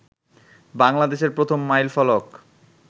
বাংলাদেশের প্রথম মাইল ফলক